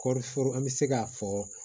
Kɔɔri foro an bɛ se k'a fɔ